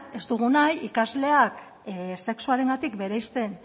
ez dugu nahi ikasleak sexuarengatik bereizten